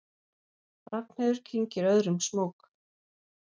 Ragnheiður kyngir öðrum smók.